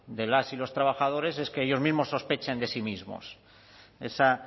de las y los trabajadores es que ellos mismos sospechen de sí mismos